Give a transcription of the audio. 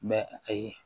Mɛ ayi